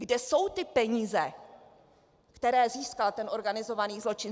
Kde jsou ty peníze, které získal ten organizovaný zločin?